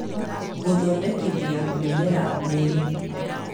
Gũthondekithia mĩmera mĩri